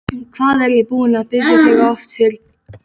Hvað er ég búinn að biðja þig oft fyrirgefningar?